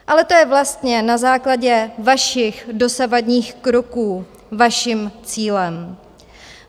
Ale to je vlastně na základě vašich dosavadních kroků vaším cílem.